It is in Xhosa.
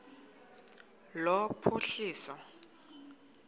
lophuhliso